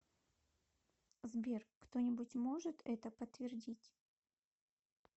сбер кто нибудь может это подтвердить